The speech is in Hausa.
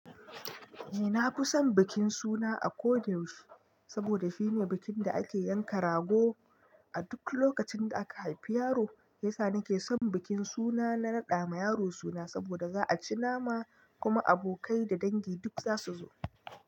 Eh na fi son bikin suna a ko da yaushe, saboda shine bikin da ake yanka rago a duk lokacin da aka haifi yaro. Shiyasa nake son bikin suna na raɗa ma yaro suna saboda za a ci nama kuma abokai da dangi duk za su zo.